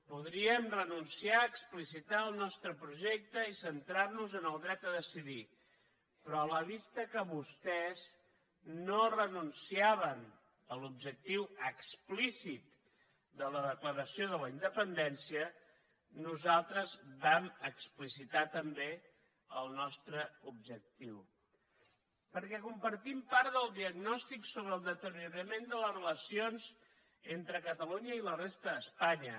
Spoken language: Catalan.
podríem renunciar a explicitar el nostre projecte i centrar nos en el dret a decidir però a la vista que vostès no renunciaven a l’objectiu explícit de la declaració de la independència nosaltres vam explicitar també el nostre objectiu perquè compartim part del diagnòstic sobre el deteriorament de les relacions entre catalunya i la resta d’espanya